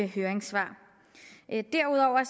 høringssvar derudover er